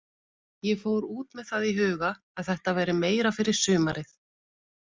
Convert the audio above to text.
Ég fór út með það í huga að þetta væri meira fyrir sumarið.